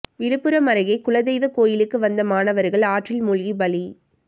விழுப்புரம் அருகே குலதெய்வ கோயிலுக்கு வந்த மாணவர்கள் ஆற்றில் மூழ்கி பலி